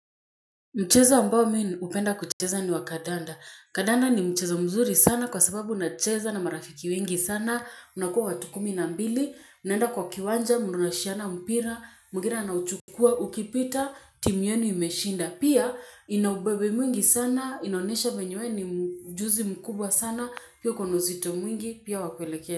Mcheza ambao mimi hupenda kucheza ni wa kandanda. Kandanda ni mcheza mzuri sana kwa sababu nacheza na marafiki wengi sana. Unakuwa watu kumi na mbili. Unaenda kwa kiwanja, mnarushiana, mpira, mwingine anauchukua, ukipita, timu yenu imeshinda. Pia ina ubebe mwingi sana, inaonesha venye wewe ni mjuzi mkubwa sana. Pia kuna uzito mwingi, pia wa kuelekea.